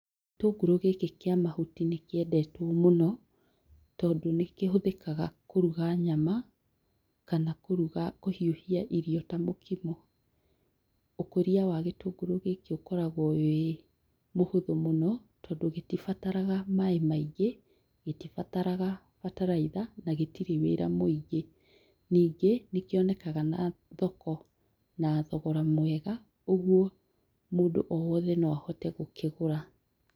Gĩtũngũrũ gĩkĩ kĩa mahuti nĩ kĩendetwo mũno, tondũ nĩ kĩhũthĩkaga kũruga nyama, kana kũruga, kũhiũhia irio ta mũkimo. Ũkũria wa gĩtũngũrũ gĩkĩ ũkoragwo wĩ mũhũthũ mũno, tondũ gĩtibataraga maĩ maingĩ, gĩtibataraga bataraitha, na gĩtirĩ wĩra mũingĩ. Ningĩ nĩ kĩonekaga thoko na thogora mwega, ũguo mũndũ o wothe no ahote gũkĩgũra